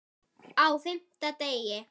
Á FIMMTA DEGI